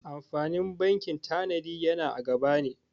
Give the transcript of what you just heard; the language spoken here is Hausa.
Amfanin bankin tanadi yana a gaba ne.